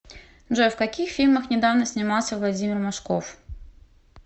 джой в каких фильмах недавно снимался владимир машков